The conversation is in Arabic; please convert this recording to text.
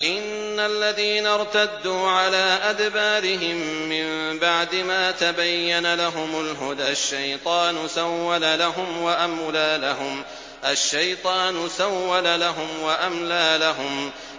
إِنَّ الَّذِينَ ارْتَدُّوا عَلَىٰ أَدْبَارِهِم مِّن بَعْدِ مَا تَبَيَّنَ لَهُمُ الْهُدَى ۙ الشَّيْطَانُ سَوَّلَ لَهُمْ وَأَمْلَىٰ لَهُمْ